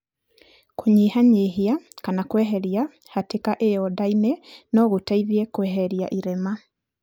Kũnyihanyihia (kana kweheria) hatĩka ĩyo nda-inĩ no gũteithie kweheria irema.